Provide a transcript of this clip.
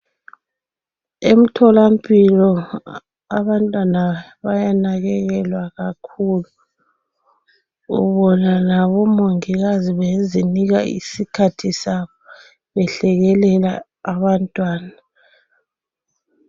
Emtholampilo, abantwana bayanakekelwa kakhulu, ubona labomongikazi bezinika isikhathi sabo, behlekelela abantwana.